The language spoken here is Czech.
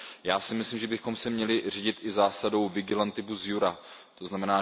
Já si myslím, že bychom se měli řídit i zásadou vigilantibus iura, tzn.